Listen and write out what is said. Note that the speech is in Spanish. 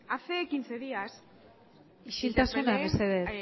hace quince días isiltasuna mesedez